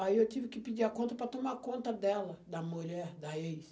Aí eu tive que pedir a conta para tomar conta dela, da mulher, da ex.